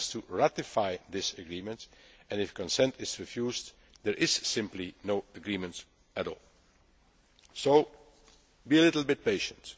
word. It has to ratify this agreement and if consent is refused, there is simply no agreement at all. So be a little bit